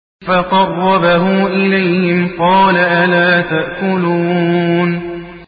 فَقَرَّبَهُ إِلَيْهِمْ قَالَ أَلَا تَأْكُلُونَ